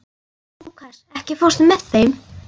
Lúkas, ekki fórstu með þeim?